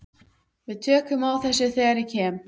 Við tökum á þessu þegar ég kem.